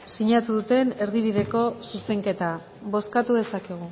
sinatu duten erdibideko zuzenketa bozkatu dezakegu